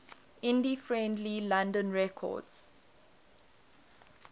indie friendly london records